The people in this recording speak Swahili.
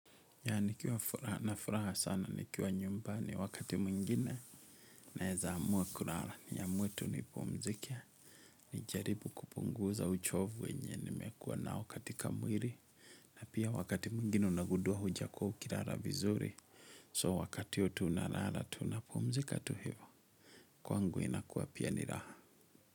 Ya nikiwa na furaha sana nikiwa nyumbani wakati mwingine naeza amua kulala niamue tu nipumzikie. Nijaribu kupunguza uchovu wenye nimekuwa nao katika mwili na pia wakati mwingine unagundua hujakua ukilala vizuri. So wakati huo tu unalala tu unapumzika tu hivo. Kwangu inakuwa pia ni raha.